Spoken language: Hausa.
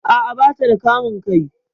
A'a, bata da kamun kai